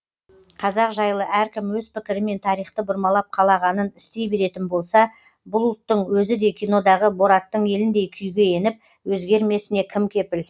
қазақ жайлы әркім өз пікірімен тарихты бұрмалап қалағанын істей беретін болса бұл ұлттың өзі де кинодағы бораттың еліндей күйге еніп өзгермесіне кім кепіл